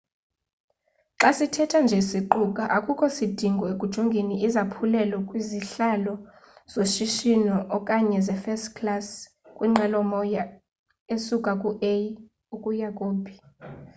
xa sithetha nje siquka akukho sidingo ekujongeni izaphulelo kwizihlalo zoshishino okanye ze first class kwinqwelomoya esuka ku a ukuya ku b